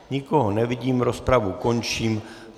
Nikoho nevidím, rozpravu končím.